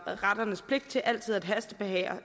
retternes pligt til altid at hastebehandle